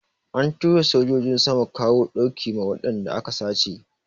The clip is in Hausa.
An tura sojojin sama kawo ɗauki ma wadanda aka sace.